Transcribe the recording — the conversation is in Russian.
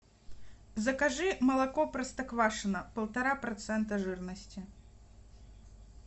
закажи молоко простоквашино полтора процента жирности